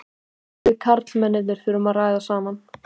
Við karlmennirnir þurfum að ræða saman.